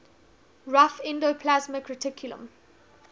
rough endoplasmic reticulum